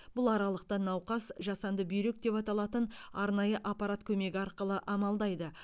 бұл аралықта науқас жасанды бүйрек деп аталатын арнайы аппарат көмегі арқылы амалдайды